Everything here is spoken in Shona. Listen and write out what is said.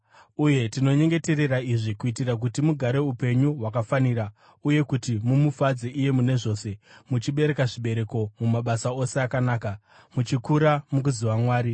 Uye tinonyengeterera izvi kuitira kuti mugare upenyu hwakafanira uye kuti mumufadze iye mune zvose: muchibereka zvibereko mumabasa ose akanaka, muchikura mukuziva Mwari,